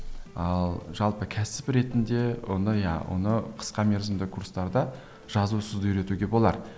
ал жалпы кәсіп ретінде ондай оны иә қысқа мерзімді курстарда жазусыз үйретуге болар